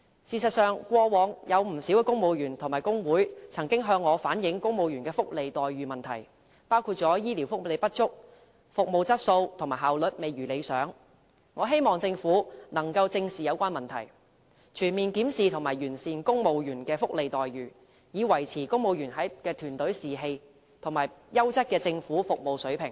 事實上，過往有不少公務員和工會曾向我反映公務員的福利待遇問題，包括醫療福利不足、服務質素和效率未如理想，我希望政府可以正視有關問題，全面檢視和完善公務員的福利待遇，以維持公務員的團隊士氣，以及優質的政府服務水平。